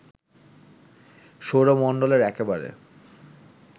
সৌরমণ্ডলের একেবারে